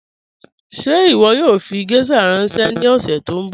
Ṣẹ iwọ yoo fi gẹ̀shà ranṣẹ ni ọ̀ṣẹ̀ tó nbọ?